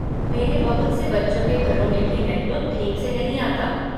मेरे बहुत से बच्चों के घरों में भी नेटवर्क ठीक से नहीं आता।